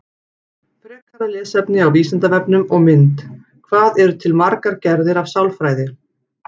Frekara lesefni á Vísindavefnum og mynd Hvað eru til margar gerðir af sálfræði?